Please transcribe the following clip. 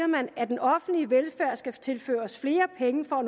man at den offentlige velfærd skal tilføres flere penge for